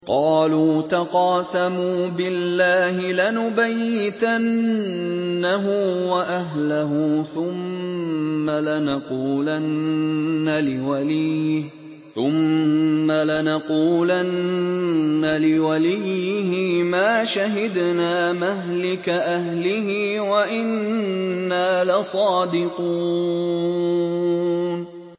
قَالُوا تَقَاسَمُوا بِاللَّهِ لَنُبَيِّتَنَّهُ وَأَهْلَهُ ثُمَّ لَنَقُولَنَّ لِوَلِيِّهِ مَا شَهِدْنَا مَهْلِكَ أَهْلِهِ وَإِنَّا لَصَادِقُونَ